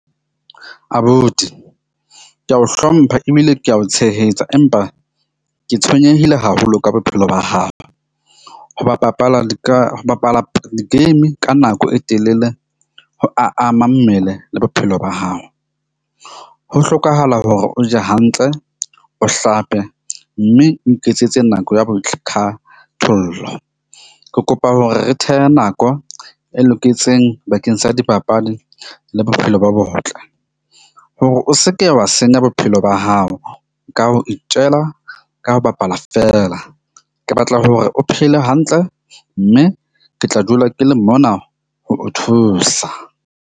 Abuti ke a o hlompha ebile ke a o tshehetsa, empa ke tshwenyehile haholo ka bophelo ba hao. Ho ba bapala ho bapala di-game ka nako e telele. Ho ama mmele le bophelo ba hao, ho hlokahala hore o je hantle, o hlape mme o iketsetse nako ya . Ke kopa hore re thehe nako e loketseng bakeng sa dipapadi le bophelo bo botle, hore o seke wa senya bophelo ba hao. Ka ho itjela ka ho bapala feela, ke batla hore o phele hantle mme ke tla dula ke le mona ho o thusa.